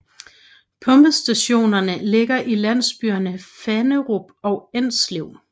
Pumpestationerne ligger i landsbyerne Fannerup og Enslev